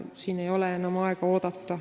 Siin ei ole enam aega oodata.